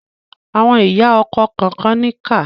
Àwọn ìyá ọkọ kànkan níkà.